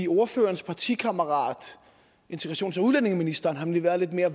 ordførerens partikammerat integrations og udlændingeministeren har nemlig været lidt mere